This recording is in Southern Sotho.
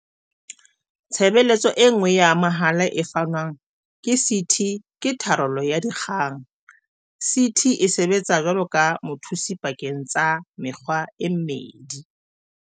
Tshebeletso e nngwe ya mahala e fanwang ke CT ke tharollo ya dikgang. CT e sebetsa jwaloka mothusi pakeng tsa mekga e mmedi.